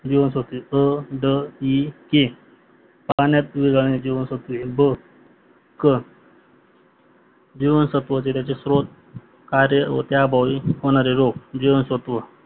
जीवनसत्वे क ड इ हे पाण्यात विरघळणारे जीवनसत्वे ब, क, जीवनसत्व व त्याचे कार्य व त्या अभावी होणारे रोग जीवांसत्व